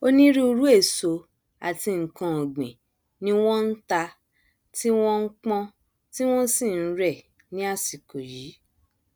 onírúirú èso àti nkan ọgbìn ni wọn nta tí wọn npọn tí wọn sì nrẹ ní àsìkò yìí